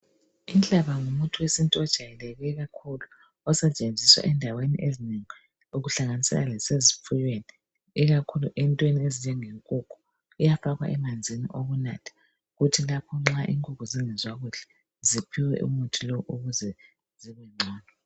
Inhlaba ngumuthi wesintu ojayeleke kakhulu osetsenziswa endaweni ezinengi okuhlanganisela lasezifuyweni ikakhulu entweni ezinjenge nkukhu uyafakwa emanzini okunatha kuthi lapho nxa inkukhu zingezwa kuhle ziphiwe umuthi lowo ukuze zibe ngcono.